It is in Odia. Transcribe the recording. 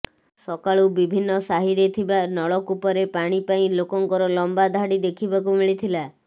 ସକାଳୁ ବିଭିନ୍ନ ସାହିରେ ଥିବା ନଳକୂପରେ ପାଣି ପାଇଁ ଲୋକଙ୍କର ଲମ୍ବା ଧାଡ଼ି ଦେଖିବାକୁ ମିଳିଥିଲା